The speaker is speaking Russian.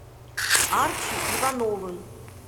арчи ивановым